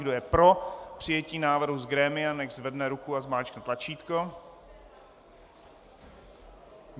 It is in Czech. Kdo je pro přijetí návrhu z grémia, nechť zvedne ruku a zmáčkne tlačítko.